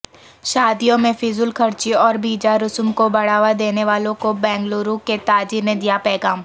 شادیوں میں فضول خرچی اور بیجا رسوم کوبڑھاوا دینے والوں کوبنگلورو کے تاجرنے دیا پیغام